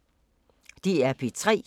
DR P3